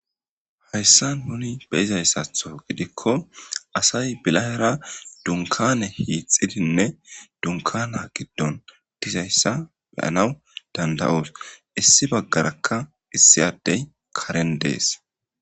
hayssa nuni beyizayssatho gidikko asay bilahera dunkane hiixidinne dunkana giddon dizayssa beyanaw danda7oos issi baggarakka issiyadey karen dees